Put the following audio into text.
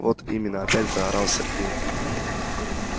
вот именно опять заорал сергей